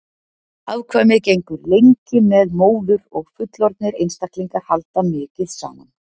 afkvæmið gengur lengi með móður og fullorðnir einstaklingar halda mikið saman